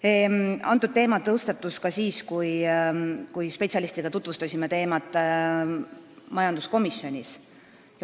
See teema tõstatus ka siis, kui me spetsialistidega tutvustasime teemat majanduskomisjonis.